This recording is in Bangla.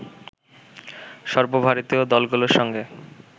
সর্বভারতীয় দলগুলোর সঙ্গে